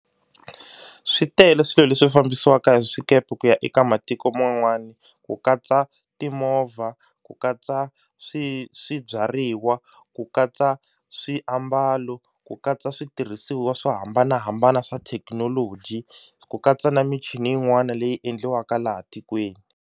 Swi tele swilo leswi fambisiwaka hi swikepe ku ya eka matiko man'wana ku katsa timovha, ku katsa swi swibyariwa, ku katsa swiambalo, ku katsa switirhisiwa swo hambanahambana swa thekinoloji, ku katsa na michini yin'wana leyi endliwaka laha tikweni.